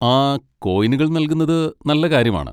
ആ, കോയിനുകൾ നൽകുന്നത് നല്ല കാര്യമാണ്.